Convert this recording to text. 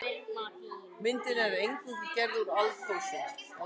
Myndin er nær eingöngu gerð úr áldósum.